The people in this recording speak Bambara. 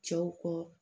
Cɛw kɔ